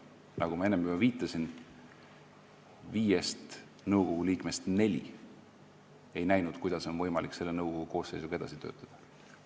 Nagu ma enne juba viitasin, viiest nõukogu liikmest neli ei näinud, kuidas on võimalik selle nõukogu koosseisuga edasi töötada.